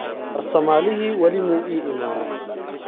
Farsamalixi wali muu iimanin.